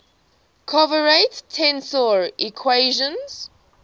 covariant tensor equations